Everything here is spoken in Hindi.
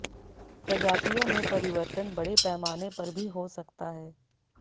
प्रजातियों में परिवर्तन बड़े पैमाने पर भी हो सकता है